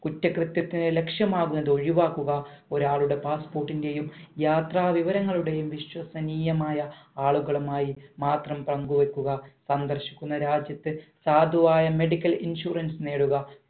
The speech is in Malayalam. കുറ്റ കൃത്യത്തിന് ലക്ഷ്യമാക്കുന്നത് ഒഴിവാക്കുക ഒരാളുടെ passport ന്റെയും യാത്ര വിവരങ്ങളുടെയും വിശ്വസനീയമായ ആളുകളുമായി മാത്രം പങ്കുവെക്കുക സന്ദർശിക്കുന്ന രാജ്യത്തെ സാധുവായ medical insurance നേടുക